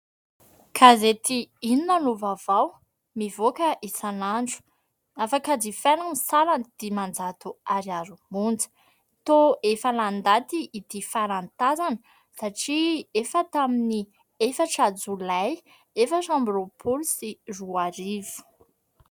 Gazety inona no vaovao mivoaka isan'andro afaka jifaina ny sarany dimanjato ariary monja tao efa lany daty ity farany tazana satria efa tamin'ny efatra jolay efatra amby roapolo sy roa arivo.